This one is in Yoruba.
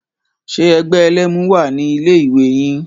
Ṣe ẹgbẹ́ ẹlẹ́mu wà ní ilé ìwé yín?